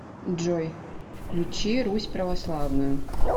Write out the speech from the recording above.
джой включи русь православную